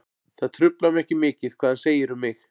Það truflar mig ekki mikið hvað hann segir um mig.